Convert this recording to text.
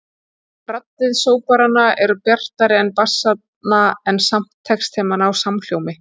Raddir sóprananna eru bjartari en bassanna en samt tekst þeim að ná samhljómi.